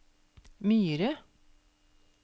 Myre